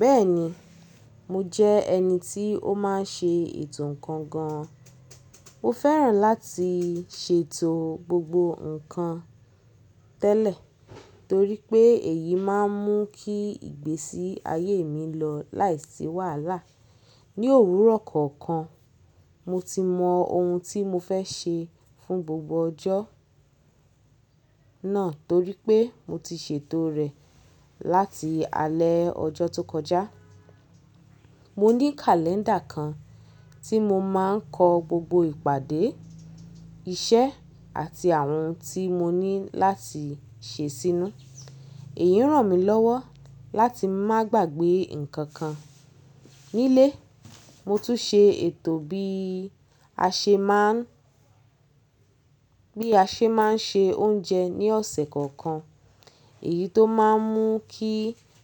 Bẹ́ẹ̀ni, mo jẹ́ ẹni tí ó máa ń ṣe ètò ǹkan gan. Mo fẹ́ràn láti ṣètò gbogbo ǹkan tẹ́lẹ̀ torí pé èyí máa ń mú kí ìgbésí ayé mi lọ láìsí wàhálà. Ni òwúrọ̀ kọ̀ọ̀kan, mo ti mọ ohun tí mo fẹ́ ṣe fún gbogbo ọjọ́ náà torí pé mo ti ṣètò rẹ̀ láti alẹ́ ọjọ́ tó kọjá. Mo ní kàléńdà kan tí mo máa ń kọ gbogbo ìpàdé, iṣẹ́ àti àwọn ohun tí mo ní láti ṣe sínú. Èyí ràn mí lọ́wọ́ láti má gbàgbé ǹkan kan. Nílé, mo tún ṣe ètò bí a ṣe máa ń, bí a ṣe máa ń se oúnjẹ ní ọ̀sẹ̀ kọ̀ọ̀kan. Èyí tó máa ń mú kí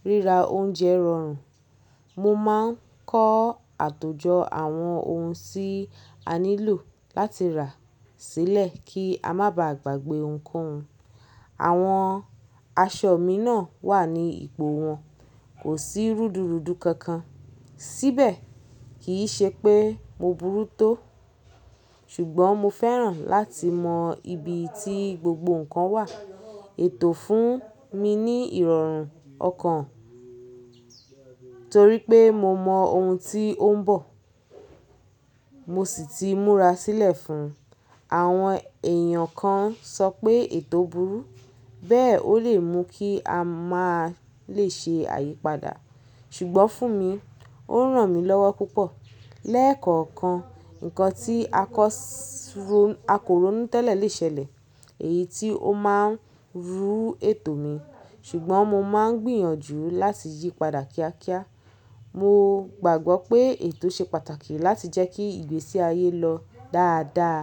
ríra oúnjẹ rọrùn. Mo máa ń kọ àtòjọ àwọn ohun tí a nílò láti rà sílẹ̀ kí a má ba à gbàgbé ohunkohun. Àwọn aṣọ mi náà wà ní ipò wọn, kò sí rúdurùdu kankan síbẹ̀. Kì í ṣe pé mo burú tó, ṣùgbọ́n mo fẹ́ràn láti mọ ibi tí gbogbo ǹkan wà. Ètò fún mi ní ìrọ̀rùn ọkàn torí pé mo mọ ohun tí ó ń bọ̀, mo sì ti múra sílẹ̀ fún un. Àwọn èèyàn kan sọ pé ètò burú, bẹ́ẹ̀ ó lè mú kí a má lè ṣe àyípadà, ṣùgbọ́n fún mi, ó ràn mí lọ́wọ́ púpọ̀. Lẹ́ẹ̀kọ̀ọ̀kan, ǹkan tí a kọ́ sún, a kò rónú tẹ́lẹ̀ lè ṣẹlẹ̀, èyí tí ó máa ń rú ètò mi, ṣùgbọ́n mo máa ń gbìyànjú láti yípadà kíákíá. Mo gbàgbọ́ pé ètò ṣe pàtàkì láti jẹ́ kí ìgbésí ayé lọ dáadáa.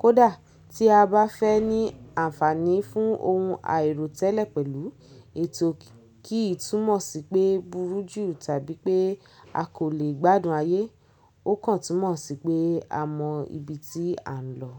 Kódà tí a bá fẹ́ ní àǹfààní fún ohun àìròtẹ́lẹ̀ pẹ̀lú ètò kí í túmọ̀ sí pé burú jù tàbí pé a kò lè gbádùn ayé, ó kàn túmọ̀ sí pé a mọ ibi tí à ń lọ.